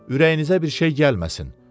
Ürəyinizə bir şey gəlməsin.